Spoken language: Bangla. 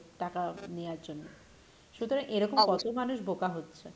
টাকা নেওয়ার জন্য সুতরাং এরকম কত মানুষ বোকা হচ্ছে।